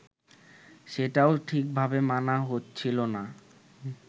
সেটাও ঠিকভাবে মানা হচ্ছিল না